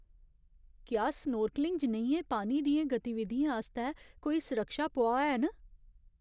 क्या स्नोर्कलिंग जनेहियें पानी दियें गतिविधियें आस्तै कोई सुरक्षा पुआऽ हैन?